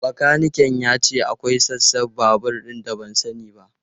Bakanikan ya ce akwai sassan babur da ban sani ba.